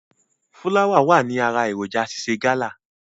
Fúláwà wà ní ara èròǹjà ṣíṣe gálà.